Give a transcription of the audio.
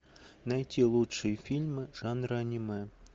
найти лучшие фильмы жанра аниме